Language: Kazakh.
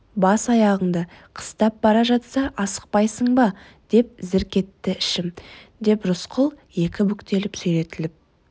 бас аяғыңды қыстап бара жатса асықпайсың ба деп зірк етті ішім деп рысқұл екі бүктеліп сүйретіліп